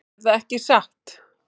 Erða ekki satt?